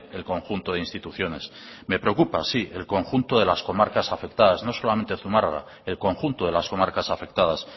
el conjunto de instituciones me preocupa sí el conjunto de las comarcas afectadas no solamente zumarraga el conjunto de las comarcas afectadas